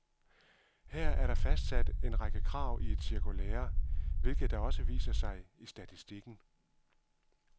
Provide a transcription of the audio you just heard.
Her er der fastsat en række krav i et cirkulære, hvilket da også viser sig i statistikken.